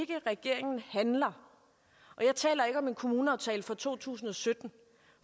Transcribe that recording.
regeringen handler og jeg taler ikke om en kommuneaftale for to tusind og sytten